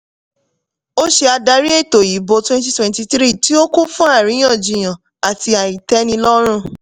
ó ṣe adarí ètò ìbò twenty twenty-three tí ó kún fún àríyànjiyàn àti àìtẹ́nilọ́rùn.